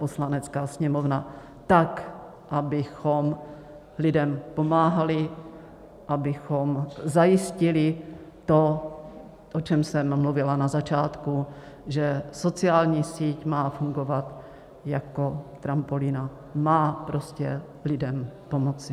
Poslanecká sněmovna tak, abychom lidem pomáhali, abychom zajistili to, o čem jsem mluvila na začátku, že sociální síť má fungovat jako trampolína, má prostě lidem pomoci.